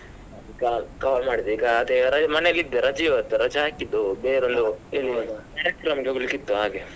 Call, call ಮಾಡಿದೇ ಈಗ ಅದೇ ಹೊರಗೆ ಮನೆಯಲ್ಲಿ ಇದ್ದೆ ರಜೆ ಇವತ್ತು ರಜೆ ಹಾಕಿದ್ದು ಬೇರೊಂದು ಹೋಗ್ಲಿಕಿತ್ತು ಹಾಗೆ.